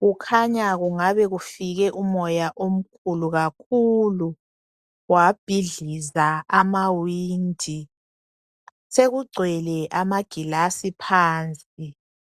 kukhanya kungabe kufike umoya omkhulu kakhulu wabhidliza amawindi . Sekugcwele amaglass phansi .